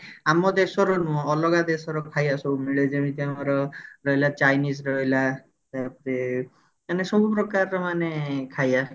ଆମ ଦେଶର ନୁହଁ ଅଲଗା ଦେଶର ଖାଇବା ସବୁ ମିଳେ ଯେମିତି ଆମର ରହିଲା chains ରହିଲା ତାପରେ ମାନେ ସବୁ ପ୍ରକାର ର ମାନେ ଖାଇବା